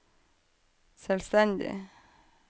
selvstendig